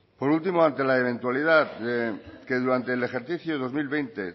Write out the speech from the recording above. por último ante la eventualidad que durante el ejercicio dos mil veinte